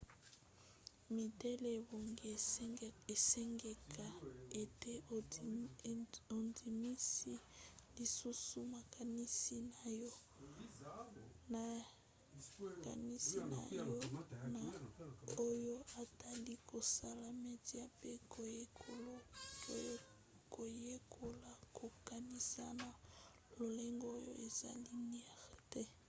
midele ebongi esengeka ete ondimisa lisusu makanisi na yo na oyo etali kosala media pe koyekola kokanisa na lolenge oyo eza lineaire te